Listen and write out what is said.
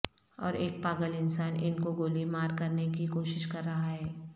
اور ایک پاگل انسان ان کو گولی مار کرنے کی کوشش کر رہا ہے